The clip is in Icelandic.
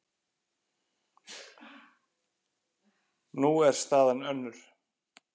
Nú er staðan önnur.